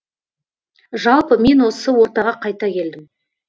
жалпы мен осы ортаға қайта келдім